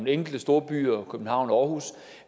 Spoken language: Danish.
enkelte storbyer københavn og aarhus